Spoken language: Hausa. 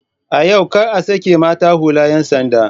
A yau kar a sake mata hular 'yan sanda!